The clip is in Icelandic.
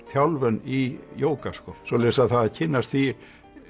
þjálfun í jóga sko svoleiðis það að kynnast því